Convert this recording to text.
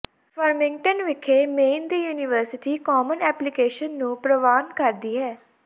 Farmington ਵਿਖੇ Maine ਦੀ university common application ਨੂੰ ਪ੍ਰਵਾਨ ਕਰਦੀ ਹੈ